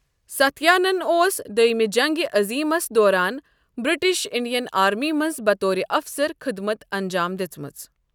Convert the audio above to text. ساتھیانَن اوس دۄیٚمہِ جنگِ عظیٖمَس دوران برٹش انڈین آرمی منٛز بطورِ اَفسَر خٔدمت انجام دِژمٕژ۔